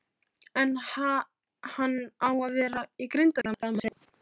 En ha-hann á að vera í Grindavík, stamaði pilturinn.